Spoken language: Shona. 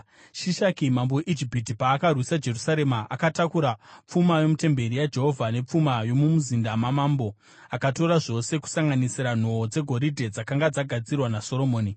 Shishaki mambo weIjipiti paakarwisa Jerusarema akatakura pfuma yomutemberi yaJehovha nepfuma yomumuzinda wamambo. Akatora zvose kusanganisira nhoo dzegoridhe dzakanga dzagadzirwa naSoromoni.